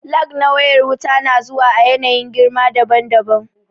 Lag na wayar wuta na zuwa a yanayin girma daban daban